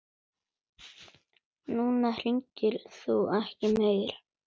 Núna hringir þú ekki meir.